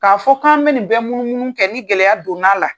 K'a fɔ k'an bɛ nin bɛɛ munu munu kɛ ni gɛlɛya don na la.